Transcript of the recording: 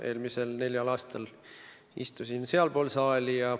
Eelmisel neljal aastal istusin sealpool saali.